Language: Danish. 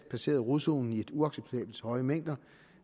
passerede rodzonen i uacceptabelt høje mængder